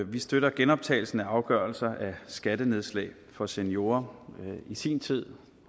vi støtter genoptagelsen af afgørelser af skattenedslag for seniorer i sin tid